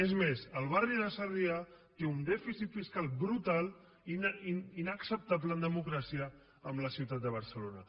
és més el barri de sarrià té un dèficit fiscal brutal inacceptable en democràcia amb la ciutat de barcelona